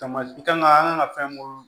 Tamasi kan an kan ka fɛn mun